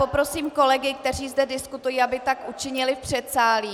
Poprosím kolegy, kteří zde diskutují, aby tak učinili v předsálí.